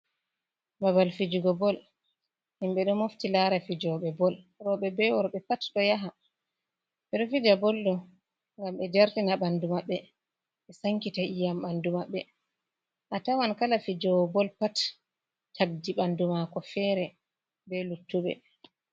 Babal fijugo bol himɓe ɗo mofti lara fijobe bol, rooɓe be worɓe pat do yaha, ɓe ɗo fija bol ɗo ngam ɓe jartina ɓandu maɓɓe ɓe sankita iyam ɓandu maɓɓe, a tawan kala fijogo bol pat takdi ɓandu mako fere ɓe luttuɓe.